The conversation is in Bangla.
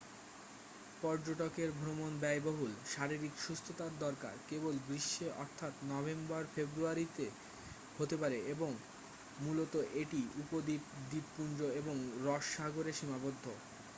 পর্যটকদের ভ্রমণ ব্যয়বহুল শারীরিক সুস্থতার দরকার কেবল গ্রীষ্মে অর্থাৎ নভেম্বর-ফেব্রুয়ারিতে হতে পারে এবং মূলত এটি উপদ্বীপ দ্বীপপুঞ্জ এবং রস সাগরে সীমাবদ্ধ